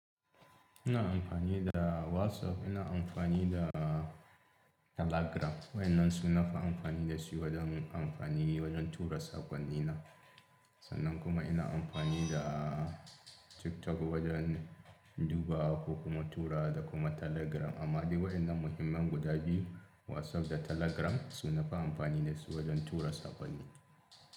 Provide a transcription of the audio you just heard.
Ina amfani da WhatsApp, ina amfani da Telegram. Wa yannan su nafi amfani da su wajen amfani wajen tura sakonni na. Sannan kuma ina amfani da TikTok wajen duba ko kuma tura da kuma Telegram. Amma dai wayannan muhimman guda biyu whatsapp da telegram su nafi amfani wajen tura sakonni.